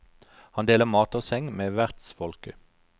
Han deler mat og seng med vertsfolket.